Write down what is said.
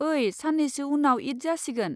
ओइ, सान्नैसो उनाव ईद जासिगोन।